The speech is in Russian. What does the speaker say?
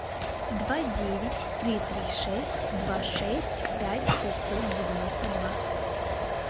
два девять три три шесть два шесть пять пятьсот девяносто два